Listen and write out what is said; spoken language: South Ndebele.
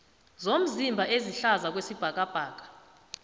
zomzimba ezihlaza kwesibhakabhaka